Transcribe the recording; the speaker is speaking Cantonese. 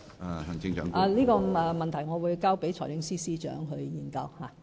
我會把這個問題交給財政司司長研究。